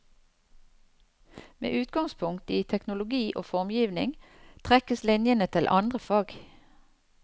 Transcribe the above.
Med utgangspunkt i teknologi og formgivning trekkes linjene til andre fag.